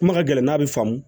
Kuma ka gɛlɛn n'a bɛ faamu